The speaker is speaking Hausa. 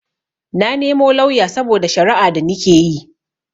Na nemo lauya saboda shara'a da nikeyi